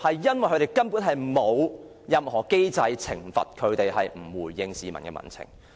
因為根本沒有任何機制可懲罰不回應民情的部門。